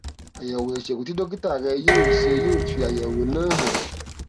àyẹwò ìṣègùn tí dókítà rẹ yóò ṣe yóò fi àyẹwò náà hàn